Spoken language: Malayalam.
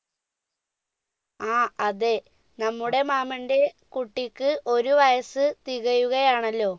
ആ അതെ നമ്മുടെ മാമൻറെ കുട്ടിക്ക് ഒരു വയസ്സ് തികയുകയാണല്ലോ